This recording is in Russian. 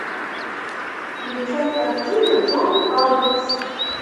включай картину джон адамс